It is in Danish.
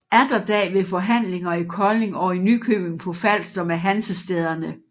Atterdag ved forhandlinger i Kolding og i Nykøbing på Falster med Hansestæderne